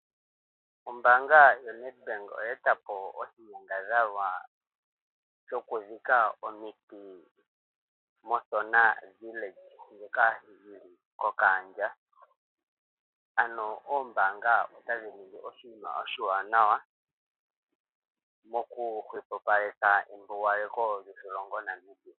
Ombaanga yaNedbank oya eta po oshinyangadhalwa shoku dhika omiti moSona villahe ndjoka yili kOkahandja. Ano oombanga otadhi ningi oshinima oshiwanawa moku hwepopaleka embugaleko lyoshilongo Namibia